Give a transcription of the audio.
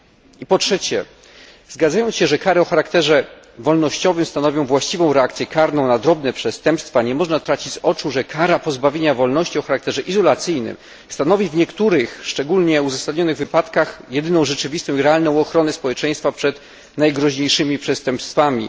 I po trzecie, zgadzając się, że kary o charakterze wolnościowym stanowią właściwą reakcję karną na drobne przestępstwa, nie można tracić z oczu, że kara pozbawienia wolności o charakterze izolacyjnym stanowi w niektórych szczególnie uzasadnionych wypadkach jedyną rzeczywistą i realną ochronę społeczeństwa przed najgroźniejszymi przestępstwami.